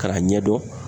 K'a ɲɛdɔn